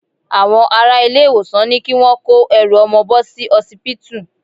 Àwọn ará ilé-ìwòsàn ní kí wọ́n kó ẹrù ọmọ bò sí osipitu.